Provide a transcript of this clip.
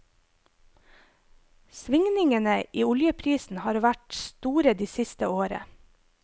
Svingningene i oljeprisen har vært store det siste året.